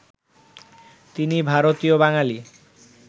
তিনি ভারতীয় বাঙালি